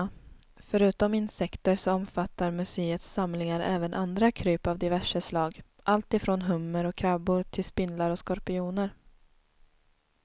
Förutom insekter så omfattar muséets samlingar även andra kryp av diverse slag, alltifrån hummer och krabbor till spindlar och skorpioner.